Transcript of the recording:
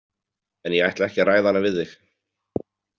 En ég ætla ekki að ræða hana við þig.